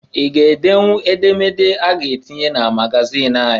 I ga edenwu edemede a ga-atinye na magazịn anyị?